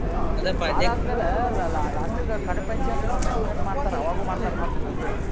ಆದ್ಮೇಲೆ la~ la~ last ಕ್ಕ ಕಡೆ ಪಂಚ~ ಪಂಚಮಿ ಅಂತ ಮಾಡ್ತಾರ ಅವಾಗು ಮಾಡ್ತಾರ ಮತ್ತ ಪೂಜೆ. ಆರ ನಾವ .